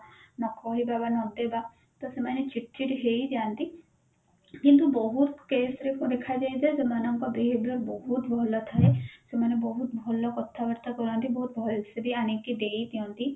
ନ କହିବା ବା ନଦେବା ତ ସେମାନେ ଚିଡଚିଡ ହେଇଯାନ୍ତି କିନ୍ତୁ ବହୁତ case ରେ ଦେଖାଯାଏ ଯେ ଯୋଉମାନଙ୍କ behavior ବହୁତ ଭଲ ଥାଏ ସେମାନେ ବହୁତ ଭଲ କଥା ବାର୍ତା କରନ୍ତି ବହୁତ ଭଲସେ ଆଣିକି ବି ଦେଇଦିଅନ୍ତି